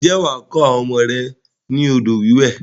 Ǹjẹ́ wà á kọ́ àwọn ọmọ mi ni odò wíwẹ̀?